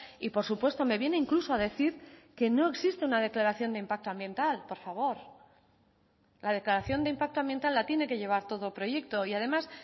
y por supuesto me viene incluso a decir que no existe una declaración de impacto ambiental por favor la declaración de impacto ambiental la tiene que llevar todo proyecto y además